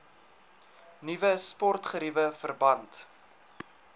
nuwe sportgeriewe verband